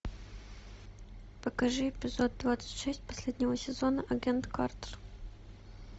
покажи эпизод двадцать шесть последнего сезона агент картер